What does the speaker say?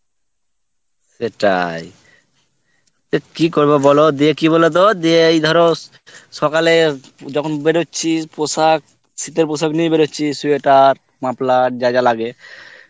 সেটাই তা কি করবো বল ও দিয়ে কি বলতো যে এই ধরো সকালে যখন বেরোচ্ছি, পোশাক, শীতের পোশাক নিয়েই বেরোচ্ছি sweater, muffler যা যা লাগে,